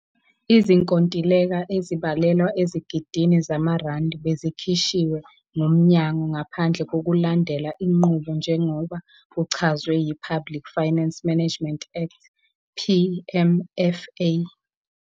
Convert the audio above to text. Izinkontileka ezibalelwa ezigidini zamarandi bezikhishwe ngumnyango "ngaphandle kokulandela inqubo njengoba kuchazwe yiPublic Finance Management Act, PMFA.